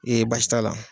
Ee baasi t'a la